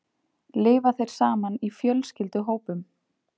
Lifa þeir saman í fjölskylduhópum?